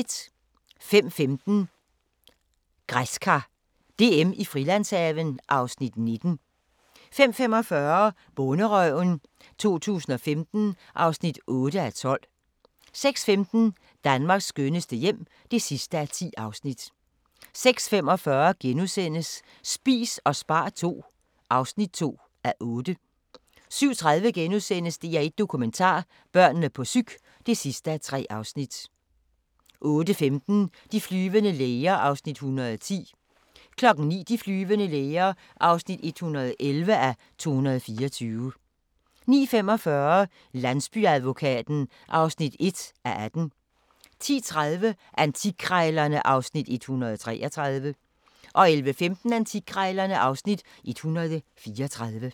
05:15: Græskar DM i Frilandshaven (Afs. 19) 05:45: Bonderøven 2015 (8:12) 06:15: Danmarks skønneste hjem (10:10) 06:45: Spis og spar II (2:8)* 07:30: DR1 Dokumentar: Børnene på psyk (3:3)* 08:15: De flyvende læger (110:224) 09:00: De flyvende læger (111:224) 09:45: Landsbyadvokaten (1:18) 10:30: Antikkrejlerne (Afs. 133) 11:15: Antikkrejlerne (Afs. 134)